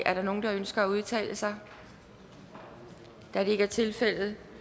er der nogen der ønsker at udtale sig da det ikke er tilfældet